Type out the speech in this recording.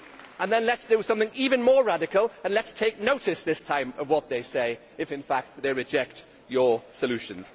And then let us do something even more radical and let us take notice this time of what they say if, in fact, they reject your solutions.